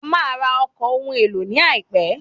A máa ra ọkọ̀ ohun èlò ní àìpé.